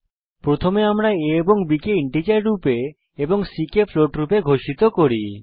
প্রথমে আমরা a ও b কে ইন্টিজার রূপে এবং c কে ফ্লোট রূপে ঘোষিত করি